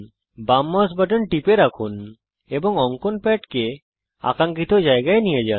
বাম mouse button টিপে রাখুন এবং অঙ্কন প্যাডকে আকাঙ্খিত জায়গায় নিয়ে যান